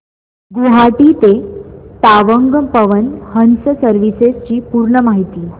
गुवाहाटी ते तवांग पवन हंस सर्विसेस ची पूर्ण माहिती